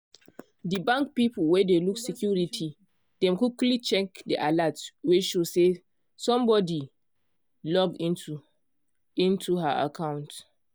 de bank people wey dey look security dem quickly check de alert wey show say somebody log into into her account.